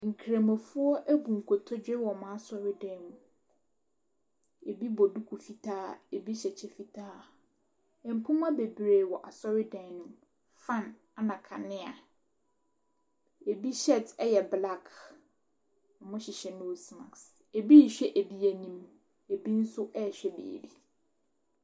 Nkramofoɔ abu nkotodwe wɔ wɔn asɔredan mu. Bi bɔ duku fitaa, bi hyɛ kyɛ fitaa. Mpoma beree wɔ asɔredan no mu, fan, ɛna kanea. Ɛbi shirt yɛ black. Wɔhyehyɛ nose mask. Ɛbi rehwɛ ɛbi anim, abi nso rehwɛ baabi.